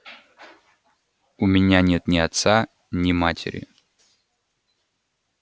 у меня нет ни отца ни матери